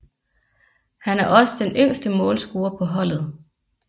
Han er også den yngste målscorer på holdet